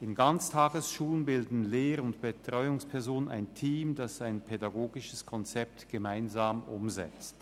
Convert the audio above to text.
In Ganztagesschulen bilden Lehr- und Betreuungspersonen ein Team, das ein pädagogisches Konzept gemeinsam umsetzt.